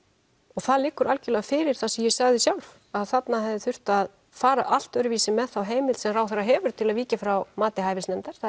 og það liggur algjörlega fyrir það sem ég sagði sjálf að þarna hefði þurft að fara allt öðruvísi með þá heimild sem ráðherra hefur til að víkja frá mati hæfisnefndar það